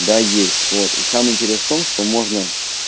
да есть вот и сам интерес в том что можно